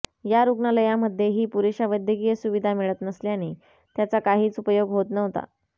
या रूग्णालयामध्येही पुरेशा वैद्यकीय सुविधा मिळत नसल्याने त्याचा काहीच उपयोग होत नव्हता